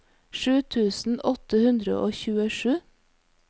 sju tusen åtte hundre og tjuesju